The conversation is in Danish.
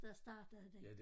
Der startede det